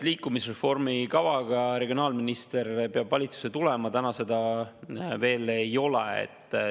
Liikuvusreformi kavaga peab regionaalminister valitsusse tulema, täna seda veel ei ole.